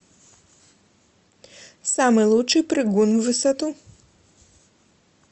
самый лучший прыгун в высоту